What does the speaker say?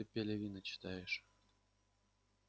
так ты пелевина читаешь